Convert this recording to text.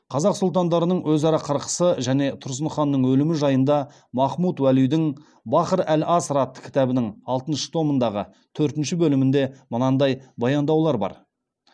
қазақ сұлтандарының өзара қырқысы және тұрсын ханның өлімі жайында махмуд уәлидің бахр ал аср атты кітабының алтыншы томындағы төртінші бөлімінде мынандай баяндаулар бар